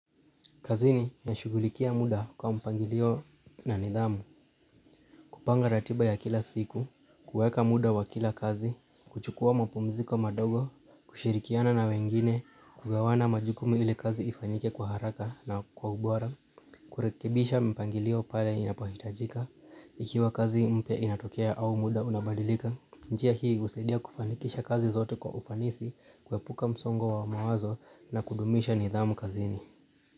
Kazini nashughulikia mda kwa mpangilio na nidhamu, kupanga ratiba ya kila siku, kueka muda wa kila kazi, kuchukua mapumziko madogo, kushirikiana na wengine, kugawana majukumu ili kazi ifanyike kwa haraka na kwa ubora, kurekebisha mpangilio pale inapohitajika, ikiwa kazi mpe inatokea au muda unabadilika. Njia hii husidia kufanikisha kazi zote kwa ufanisi, kuepuka msongo wa mawazo na kuhudumisha nidhamu kazini.